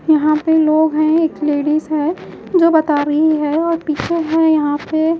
यहां पे लोग हैं एक लेडीज है जो बता रही है और पीछे है यहां पे--